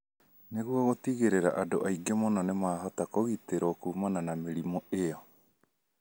Nĩguo gũtigĩrĩra andũ aingĩ mũno nĩ mahota kũgitĩrũo kuumana na mĩrimũ ĩyo.